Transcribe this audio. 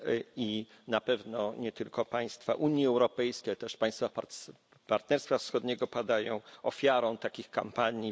I na pewno nie tylko państwa Unii Europejskiej, ale też państwa Partnerstwa Wschodniego padają ofiarą takich kampanii.